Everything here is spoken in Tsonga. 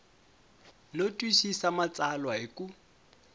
no twisisa matsalwa hi ku